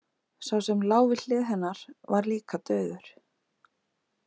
Sá sem lá við hlið hennar var líka dauður.